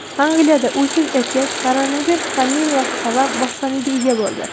Angliyada uysiz erkak koronavirus pandemiyasi sabab boshpanaga ega bo‘ldi.